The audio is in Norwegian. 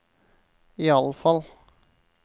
iallfall